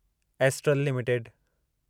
astral limited